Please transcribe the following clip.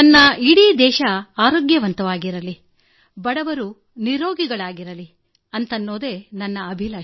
ನನ್ನ ಇಡೀ ದೇಶ ಆರೋಗ್ಯವಾಗಿರಲಿ ಅದರ ಬಡ ಜನರೂ ನಿರೋಗಿಗಳಾಗಿರಲಿ ಎಂದು ನಾನು ಬಯಸುವೆ